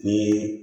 Ni